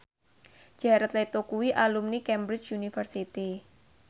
Jared Leto kuwi alumni Cambridge University